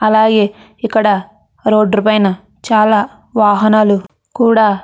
అలాగే ఇక్కడ రోడ్ పైన చాల వాహనల్లు కూడా --